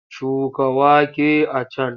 Shuka wake a can!